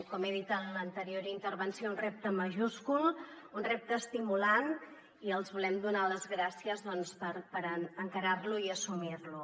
com he dit en l’anterior intervenció un repte majúscul un repte estimulant i els volem donar les gràcies per encarar lo i assumir lo